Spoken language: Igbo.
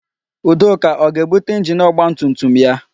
Udoka ọ ga-ebute injini ọgbatumtum ya?